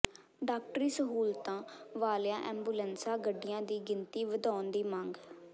ਡਾਕਟਰੀ ਸਹੂਲਤਾਂ ਵਾਲੀਆਂ ਐਾਬੂਲੈਂਸ ਗੱਡੀਆਂ ਦੀ ਗਿਣਤੀ ਵਧਾਉਣ ਦੀ ਮੰਗ